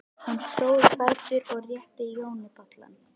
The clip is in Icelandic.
Hún stóð á fætur og rétti Jóni bollann.